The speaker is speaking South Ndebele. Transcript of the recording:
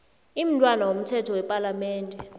imntwana womthetho wepalamende